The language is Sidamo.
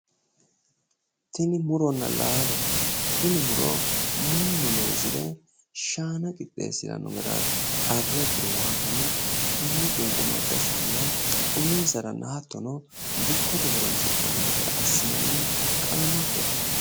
Tini muronna laalote mannu loosire shaana loosirano garati iseno qunqumado shaana uminsaranna dikko shiqqisate loosiranote qaamattote